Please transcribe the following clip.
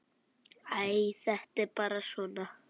Æ, þetta er bara svona.